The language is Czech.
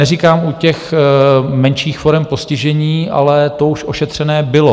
Neříkám u těch menších forem postižení, ale to už ošetřené bylo.